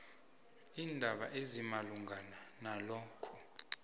iindaba ezimalungana nalokho